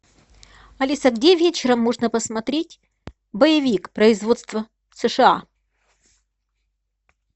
алиса где вечером можно посмотреть боевик производство сша